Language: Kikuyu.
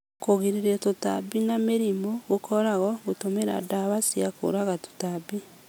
kũgirĩrĩria tũtambi na mĩrimũ gũkoragwo gũtũmĩra ndawa cia kũũraga tũtambi